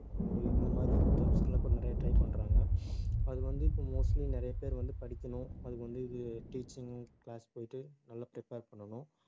அஹ் இந்த மாதிரி jobs க்கு எல்லாம் இப்ப நிறைய try பண்றாங்க. அது வந்து இப்ப mostly நிறைய பேர் வந்து படிக்கணும் அதுக்கு வந்து இது teaching class போயிட்டு நல்லா prepare பண்ணணும்